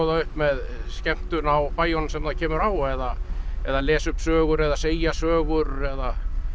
upp með skemmtun á bæjunum sem það kemur á eða eða lesa upp sögur eða segja sögur eða